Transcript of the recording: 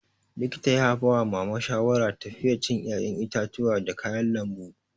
Likita ya bawa mama shawara tafiye cin 'ya'yan itatuwa da kayan lambu.